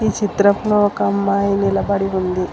ఈ చిత్రంలో ఒక అమ్మాయి నిలబడి ఉంది.